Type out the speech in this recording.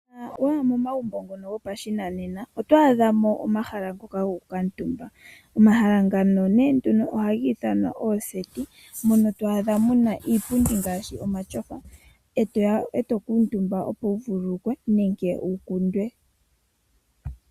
Uuna wa ya momagumbo gopashinanena oto adhamo oondunda dhokugondja mono to adha muna iipundi yomatyofa mbyoka hayi kuutumbiwa.